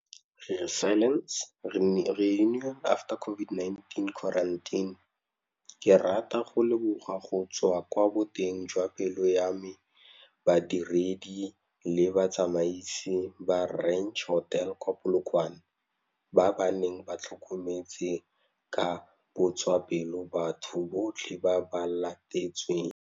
Ke rata go leboga go tswa kwa boteng jwa pelo ya me badiredi le batsamaisi ba Ranch Hotel kwa Polokwane, ba ba neng ba tlhokometse ka botswapelo batho botlhe ba ba latetsweng.